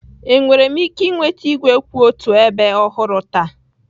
Enwere m ike ịnweta igwe kwụ otu ebe ọhụrụ taa?